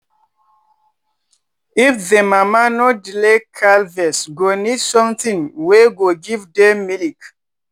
if the mama no dey calves go need something wey go give dem milk.